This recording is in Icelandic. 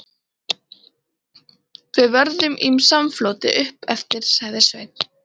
Við verðum í samfloti uppeftir, sagði Sveinn.